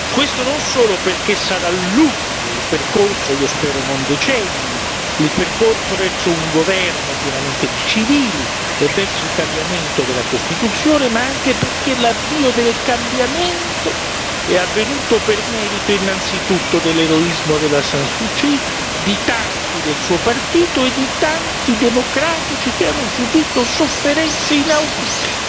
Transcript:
Questo non solo perché sarà lungo il percorso io spero non decenni verso un governo pienamente di civili e verso il cambiamento della Costituzione, ma anche perché l'avvio del cambiamento è avvenuto per merito innanzitutto dell'eroismo della San Suu Kyi, di tanti del suo partito e di tanti democratici che hanno subito sofferenze inaudite.